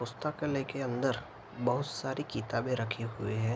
पुस्तकालय के अंदर बहुत सारी किताबे रखी हुई है।